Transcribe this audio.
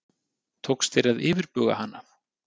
Tókst þér að yfirbuga hana?